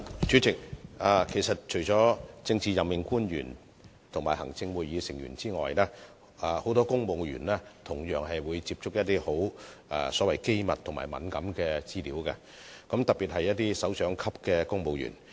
主席，除了政治任命官員和行政會議成員外，其實很多公務員同樣會接觸機密和敏感資料，特別是首長級公務員。